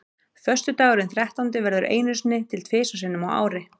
Föstudagurinn þrettándi verður einu sinni til þrisvar sinnum á ári.